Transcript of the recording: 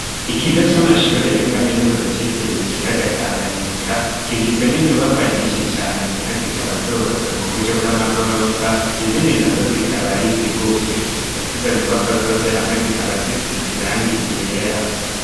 Ikigo c'amashure ya kaminuza citiriwe ikiya gatanganyika kigizwe n'inyubakwa nyinshi cane zimwe zikaba zubatswe mu buryo bw'amagorofa izindi na zo zikaba ari zigufi, ndetse izo nyubakwa zose hamwe zikaba zisi ziranga igera.